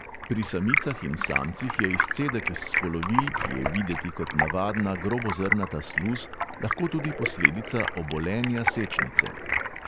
Pri samicah in samcih je izcedek iz spolovil, ki je videti kot navadna, grobozrnata sluz, lahko tudi posledica obolenja sečnice.